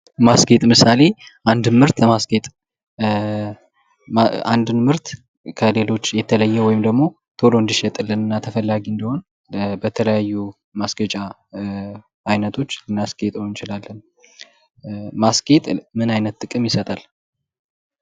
ማስጌጥ ለምሳሌ አንድን ምርት ለማስጌጥ አንድን ምርት ከሌሎች ቀድሞ እንዲሸጥልንና ተፈላጊ እንዲሆን በተለያዩ የማስጌጫ አይነቶች ልናስጌጠው እንችላለን ። ማስጌጥ ምን አይነት ጥቅም ይሰጣል ?